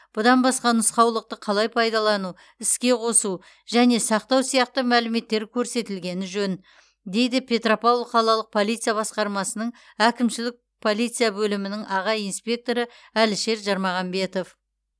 бұдан басқа нұсқаулықта қалай пайдалану іске қосу және сақтау сияқты мәліметтер көрсетілгені жөн дейді петропавл қалалық полиция басқармасының әкімшілік полиция бөлімінің аға инспекторы әлішер жармағанбетов